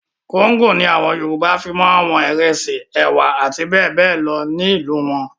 Kóńgò ni àwọn Yorùbá fi máa wọn ìrẹsì, ẹ̀wà àti bẹ́ẹ̀ bẹ́ẹ̀ lọ ní àwọn ìlú wọn.